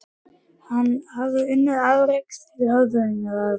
Hann hafði unnið afrek þeir höfðu unnið afrek.